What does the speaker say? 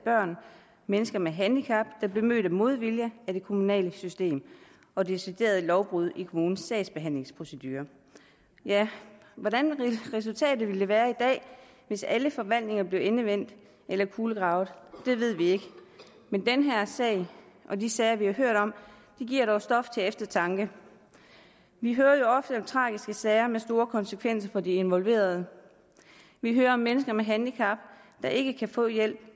og mennesker med handicap der blev mødt med modvilje af det kommunale system og deciderede lovbrud i kommunens sagsbehandlingsprocedure hvordan resultatet ville være i dag hvis alle forvaltninger blev endevendt eller kulegravet ved vi ikke men den her sag og de sager vi har hørt om giver dog stof til eftertanke vi hører jo ofte om tragiske sager med store konsekvenser for de involverede vi hører om mennesker med handicap der ikke kan få hjælp